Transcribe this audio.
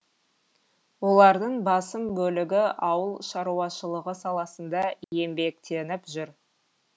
олардың басым бөлігі ауыл шаруашылығы саласында еңбектеніп жүр